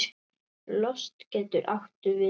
Lost getur átt við